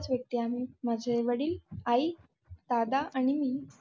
माझे वडील, आई, दादा आणि मी.